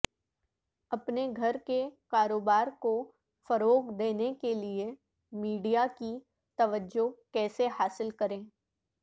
اپنے گھر کے کاروبار کو فروغ دینے کے لئے میڈیا کی توجہ کیسے حاصل کریں